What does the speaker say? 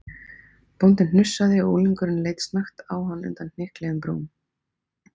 Bóndinn hnussaði og unglingurinn leit snöggt á hann undan hnykluðum brúm.